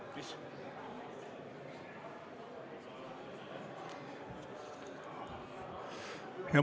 Mis?